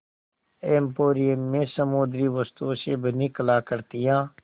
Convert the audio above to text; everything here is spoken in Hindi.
एंपोरियम में समुद्री वस्तुओं से बनी कलाकृतियाँ